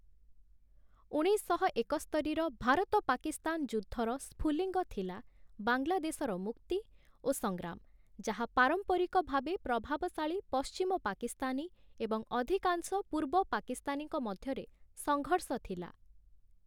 ଉଣେଇଶଶହ ଏକସ୍ତରିର ଭାରତ ପାକିସ୍ତାନ ଯୁଦ୍ଧର ସ୍ଫୁଲିଙ୍ଗ ଥିଲା ବାଂଲାଦେଶର ମୁକ୍ତି ଓ ସଂଗ୍ରାମ, ଯାହା ପାରମ୍ପରିକ ଭାବେ ପ୍ରଭାବଶାଳୀ ପଶ୍ଚିମ ପାକିସ୍ତାନୀ ଏବଂ ଅଧିକାଂଶ ପୂର୍ବ ପାକିସ୍ତାନୀଙ୍କ ମଧ୍ୟରେ ସଂଘର୍ଷ ଥିଲା ।